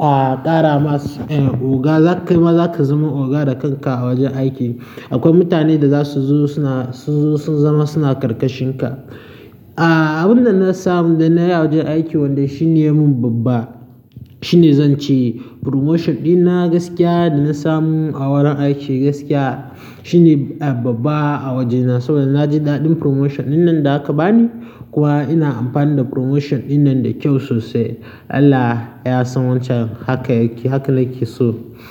a kara oga za kai ma zaka zama oga da kanka a wajen aiki. Akwai mutanen da zasu zo suna, su zo sun zama suna ƙarƙashin ka. A abin da na samu da na yi a wajen aiki wanda shi ne mun babba, shi ne zan ce promotion ɗina gaskiya da na samu a wurin aiki gaskiya shine babba a wajena saboda na ji daɗin promotion dinnan da aka bani. Kuwa ina amfani da promotion dinnan da kyau sosai. Allah ya san wancan haka yake, haka nake so.